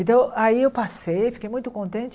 Então, aí eu passei, fiquei muito contente.